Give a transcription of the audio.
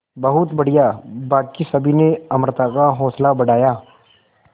बहुत बढ़िया बाकी सभी ने अमृता का हौसला बढ़ाया